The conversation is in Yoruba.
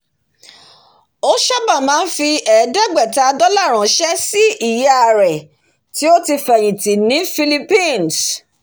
ó sábà máa ń fi ẹẹ́dẹ́gbẹ̀ta dola ránṣé sí ìyá rẹ̀ tó ti fẹ̀yìn tì ní philippines